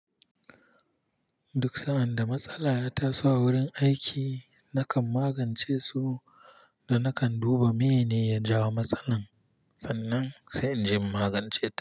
Duk sa'an da matsala ya taso a wurin aiki, nakan magance su da nakan duba meye ne ya jawo matsalar sannan sai inje in magance ta.